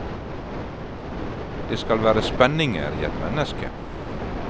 Det skal være spenninger i et menneske.